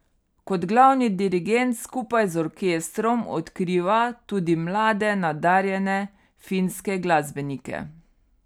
Kot glavni dirigent skupaj z orkestrom odkriva tudi mlade nadarjene finske glasbenike.